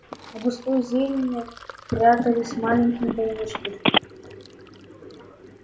в густой зелени прятались маленькие домишки